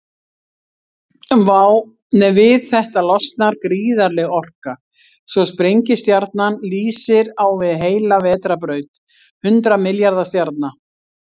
Við þetta losnar gríðarleg orka, svo sprengistjarnan lýsir á við heila vetrarbraut hundrað milljarða stjarna.